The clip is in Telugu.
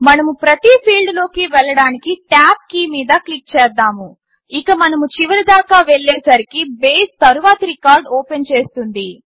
మనము ప్రతి ఫీల్డ్ లోకి వెళ్ళడానికి టాబ్ కీ మీద క్లిక్ చేద్దాము ఇక మనము చివరి దాకా వెళ్ళే సరికి బేస్ తరువాతి రికార్డ్ ఓపెన్ చేస్తుంది